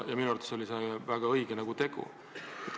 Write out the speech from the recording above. Minu arvates oli see väga õige tegu.